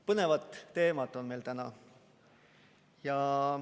Põnevad teemad on meil täna.